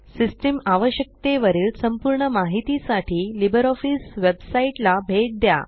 system आवश्यकते वरील संपूर्ण माहिती साठी लिब्रिऑफिस वेबसाइट ला भेट द्या